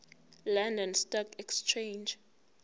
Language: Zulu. london stock exchange